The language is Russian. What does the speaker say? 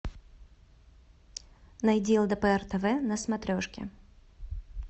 найди лдпр тв на смотрешке